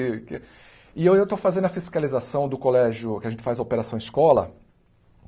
E e eu estou fazendo a fiscalização do colégio que a gente faz a operação escola.